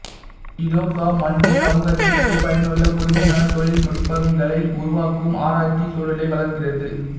இ தொ க மண்டி சமூகத்துற்கு பயனுள்ள புதுமையான தொழில்நுட்பங்களை உருவாக்கும் ஆராய்ச்சி சூழலை வளர்க்கிறது